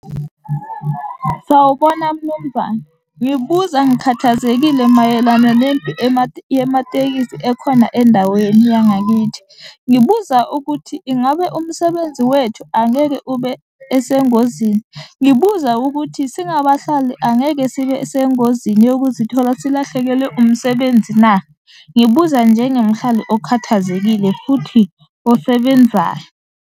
Sawubona Mnumzane, ngikubuza ngikhathazekile mayelana yematekisi ekhona endaweni yangakithi. Ngibuza ukuthi ingabe umsebenzi wethu angeke ube esengozini? Ngibuza ukuthi singabahlali angeke sibe sengozini yokuzithola silahlekelwe umsebenzi na? Ngibuza njengemhlali okhathazekile futhi osebenzayo.